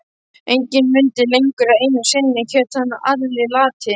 Enginn mundi lengur að einu sinni hét hann Alli lati.